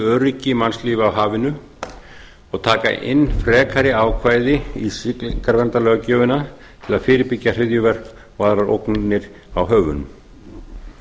öryggi mannslífa á hafinu og taka inn frekari ákvæði í siglingaverndarlöggjöfina til að fyrirbyggja hryðjuverk og aðrar ógnir á höfunum